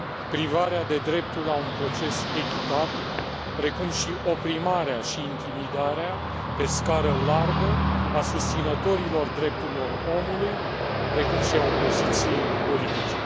privarea de dreptul la un proces echitabil, precum și oprimarea și intimidarea pe scară largă a susținătorilor drepturilor omului precum și a opoziției politice.